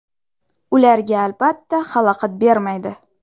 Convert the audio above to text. Ularga albatta xalaqit bermaydi.